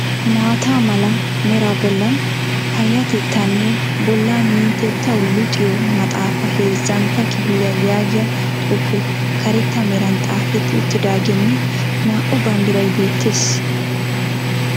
Maata mala meraa bollan payyatettaanne bolla minttetuwa luxiyo maxxaafaa heezzantta kifiliya yaagiya xuufee karetta meran xaafetti uttiidaagenne naa"u banddiray beettes.